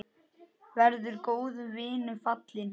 Verður góðum vinum falinn.